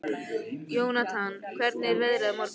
Jónatan, hvernig er veðrið á morgun?